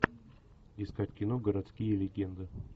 искать кино городские легенды